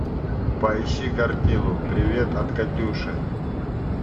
поищи картину привет от катюши